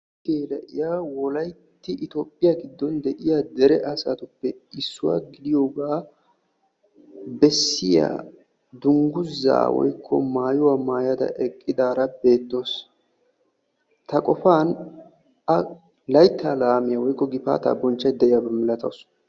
beettiya na'iya wolaytti itophiya giddon de'iya dere asatppe issuwa gidiyogaa bessiya dungguzzaa woykko maayuwa mayada eqqidaara beettawusu. ta qofan a layittaa laamiya woykko gifaataa bonchchaydda diyaba milatawusu.